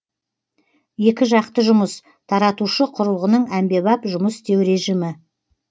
екіжақты жұмыс таратушы құрылғының әмбебап жұмыс істеу режімі